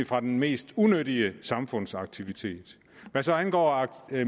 fra den mest unyttige samfundsaktivitet hvad angår